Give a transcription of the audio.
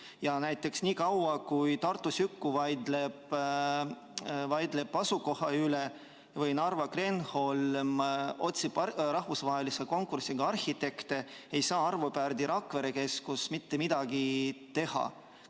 Ja näiteks niikaua, kuni Tartu Süku vaidleb asukoha üle või Narva Kreenholm otsib rahvusvahelise konkursiga arhitekte, ei saa Arvo Pärdi keskus Rakveres mitte midagi teha.